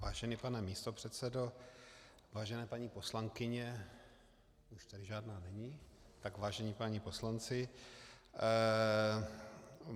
Vážený pane místopředsedo, vážené paní poslankyně - už tady žádná není, tak vážení páni poslanci.